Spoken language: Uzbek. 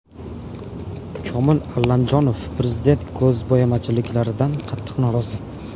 Komil Allamjonov: Prezident ko‘zbo‘yamachiliklardan qattiq norozi.